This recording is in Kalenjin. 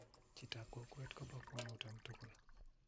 Chitap kokwe kupokwong'ut om togol.